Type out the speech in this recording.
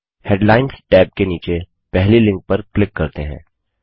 headlines tab के नीचे पहली लिंक पर क्लिक करते हैं